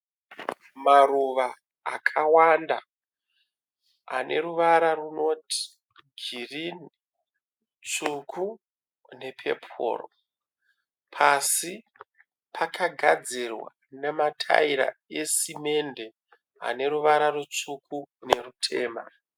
Maruva akawanda ane ruvara runoti girini, tsvuku ne pepuru. Pasi pakagadzirwa nemataira esimende ane ruvara rutsvuku nerutema.